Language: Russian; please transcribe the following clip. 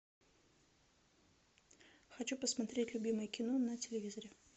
хочу посмотреть любимое кино на телевизоре